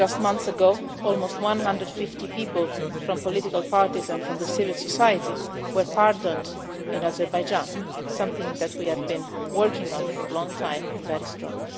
Just months ago almost one hundred and fifty people from political parties and from civil society were pardoned in Azerbaijan something that we have been working on for a long time and that is done.